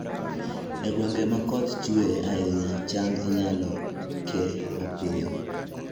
E gwenge ma koth chue ahinya, cham inyalo ke mapiyo